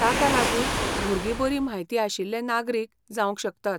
ताका लागून भुरगीं बरी म्हायती आशिल्ले नागरिक जावंक शकतात.